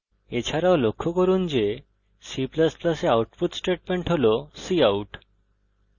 এছাড়াও লক্ষ্য করুন যে c ++ এ আউটপুট স্টেটমেন্ট হল cout